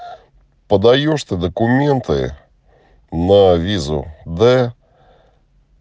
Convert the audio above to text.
поддаеш ты документы на визу да